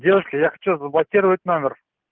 девушка я хочу заблокировать номер